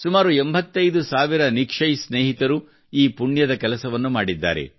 ಸುಮಾರು 85 ಸಾವಿರ ನಿಕ್ಷಯ್ ಸ್ನೇಹಿತರು ಈ ಪುಣ್ಯದ ಕೆಲಸವನ್ನು ಸಹ ಮಾಡಿದ್ದಾರೆ